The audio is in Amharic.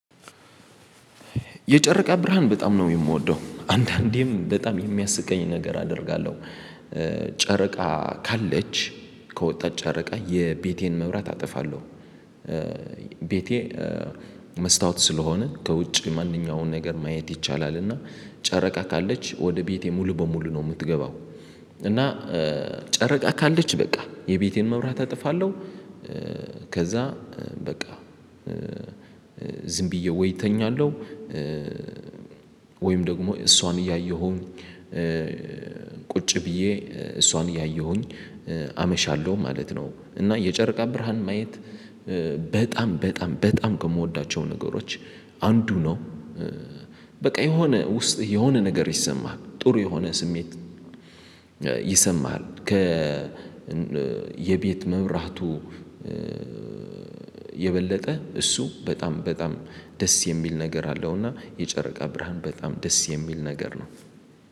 የጨረቃ ብርሃን በጣም ነው የምወደው። አንዳንዴም በጣም የሚያስቀኝ ነገር አደርጋለሁ። ጨረቃ ካለች ከወጣች ጨረቃ የቤቴን መብራት አጠፋለሁ። ቤቴ መስታወት ስለሆነ ከውጭ ማንኛውንም ነገር ማየት ይቻላል። እና ጨረቃ ካለች ወደ ቤቴ ሙሉ በሙሉ ነው የምትገባው እና ጨረቃ ካለች በቃ የቤቴን መብራት እጥፋለሁ። ከዛ በቃ ዝም ብዬ ወይ እተኛለሁ ወይም ደግሞ እሷን እያየሁኝ ቁጭ ብዬ እሷን እያየሁኝ አመሻለሁ ማለት ነው። እና የጨርቃ ብርሃን ማየት በጣም በጣም ከምወዳቸው ነገሮች አንዱ ነው። በቃ የሆነ ውስጥ የሆነ ነገር ይሰማሃል። ጥሩ የሆነ ስሜት ይሰማሃል። የቤት መብራቱ የበለጠ እሱ በጣም በጣም ደስ የሚል ነገር አለው። እና የጨረቃ ብርሃን በጣም ደስ የሚል ነገር ነው።